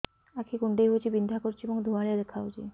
ଆଖି କୁଂଡେଇ ହେଉଛି ବିଂଧା କରୁଛି ଏବଂ ଧୁଁଆଳିଆ ଦେଖାଯାଉଛି